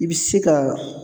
I bɛ se ka